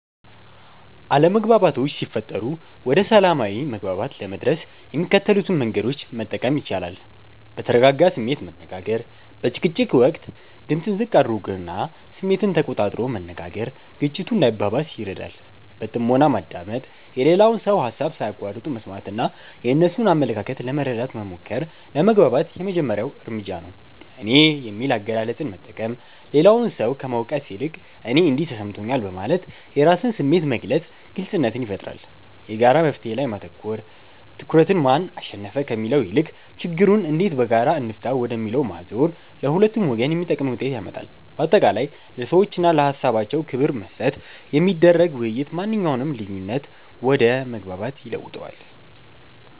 አለመግባባቶች ሲፈጠሩ ወደ ሰላማዊ መግባባት ለመድረስ የሚከተሉትን መንገዶች መጠቀም ይቻላል፦ በተረጋጋ ስሜት መነጋገር፦ በጭቅጭቅ ወቅት ድምጽን ዝቅ አድርጎና ስሜትን ተቆጣጥሮ መነጋገር ግጭቱ እንዳይባባስ ይረዳል። በጥሞና ማዳመጥ፦ የሌላውን ሰው ሃሳብ ሳይቋርጡ መስማትና የእነሱን አመለካከት ለመረዳት መሞከር ለመግባባት የመጀመሪያው እርምጃ ነው። "እኔ" የሚል አገላለጽን መጠቀም፦ ሌላውን ሰው ከመውቀስ ይልቅ "እኔ እንዲህ ተሰምቶኛል" በማለት የራስን ስሜት መግለጽ ግልጽነትን ይፈጥራል። የጋራ መፍትሔ ላይ ማተኮር፦ ትኩረትን "ማን አሸነፈ?" ከሚለው ይልቅ "ችግሩን እንዴት በጋራ እንፍታው?" ወደሚለው ማዞር ለሁለቱም ወገን የሚጠቅም ውጤት ያመጣል። ባጠቃላይ፣ ለሰዎችና ለሃሳባቸው ክብር በመስጠት የሚደረግ ውይይት ማንኛውንም ልዩነት ወደ መግባባት ይለውጠዋል።